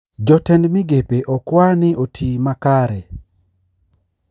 Jotend migepe okwaa ni otii makare